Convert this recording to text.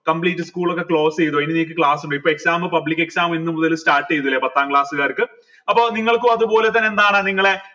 complete school ഒക്കെ close എയ്‌തോ ഇനി നിങ്ങക്ക് class ഇണ്ടോ ഇപ്പൊ exam public exam ഇന്ന് മുതൽ start എയ്തല്ലേ പത്താം class കാർക്ക് അപ്പൊ നിങ്ങൾക്കു അത്പോലെ തന്നെ എന്താണ് നിങ്ങളെ